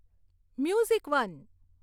music one